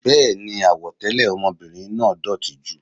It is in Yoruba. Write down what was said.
Béèni, àwọ̀ tẹlẹ ọmọbìnrin náà dótì jù.